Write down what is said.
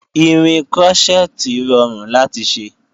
Irin krọ́ṣẹ́tì rọrùn láti ṣe